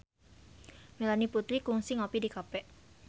Melanie Putri kungsi ngopi di cafe